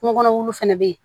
Kungo kɔnɔ wuluw fɛnɛ bɛ yen